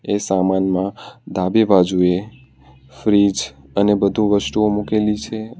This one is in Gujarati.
એ સામાનમાં ડાબી બાજુએ ફ્રીજ અને બધું વસ્તુઓ મૂકેલી છે.